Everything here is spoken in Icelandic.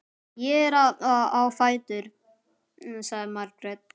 Ég er að fara á fætur, sagði Margrét.